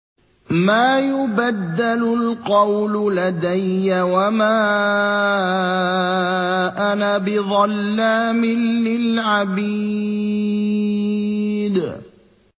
مَا يُبَدَّلُ الْقَوْلُ لَدَيَّ وَمَا أَنَا بِظَلَّامٍ لِّلْعَبِيدِ